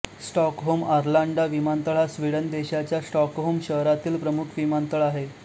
Stockholm Arlanda विमानतळ हा Sweden देशाच्या स्टॉकहोम शहरामधील प्रमुख विमानतळ आहे